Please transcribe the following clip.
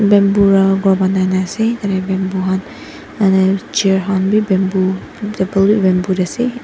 Bamboo pa khor banai na ase bamboo han chair khan bi table khan bi bamboo tae ase --